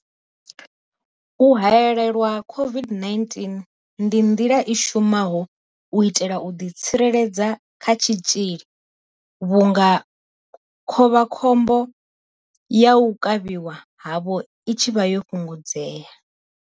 U haelelwa COVID-19 ndi nḓila i shumaho u itela u ḓitsireledza kha tshitzhili vhunga khovha khombo ya u kavhiwa havho i tshi vha yo fhungudzea.